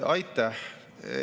Aitäh!